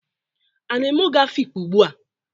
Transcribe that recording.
A na-eme ogo Afikpo ugbua?